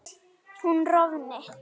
hún rofni